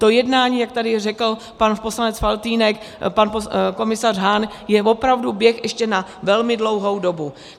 To jednání, jak tady řekl pan poslanec Faltýnek, pan komisař Hahn je opravdu běh ještě na velmi dlouhou dobu.